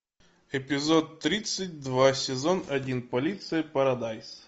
эпизод тридцать два сезон один полиция парадайз